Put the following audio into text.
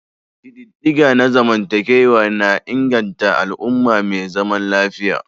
Ƙididdiga na zamantakewa na inganta al'umma mai zaman lafiya.